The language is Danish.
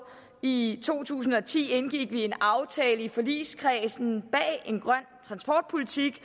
i to tusind og ti indgik vi en aftale i forligskredsen bag en grøn transportpolitik